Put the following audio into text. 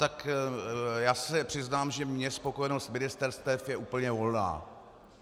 Tak já se přiznám, že mně spokojenost ministerstev je úplně volná.